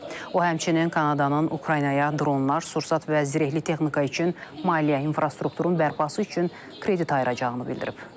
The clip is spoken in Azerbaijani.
O həmçinin Kanadanın Ukraynaya dronlar, sursat və zirehli texnika üçün maliyyə infrastrukturun bərpası üçün kredit ayıracağını bildirib.